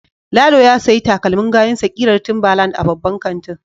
Lalo ya sayi takalmin gayunsa kirar timberland a babban kantin.